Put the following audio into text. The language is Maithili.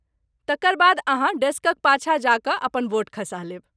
तकर बाद अहाँ डेस्कक पाछाँ जा कऽ अपन वोट खसा लेब।